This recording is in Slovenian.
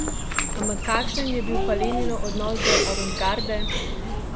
Ampak kašen je bil pa Leninov odnos do avantgarde?